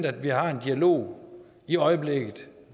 at vi har en dialog i øjeblikket